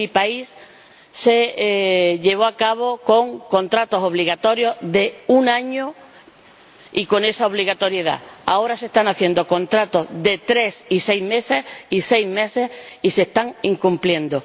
En mi país se llevó a cabo con contratos obligatorios de un año y con esa obligatoriedad. Ahora se están haciendo contratos de tres y seis meses y se están incumpliendo.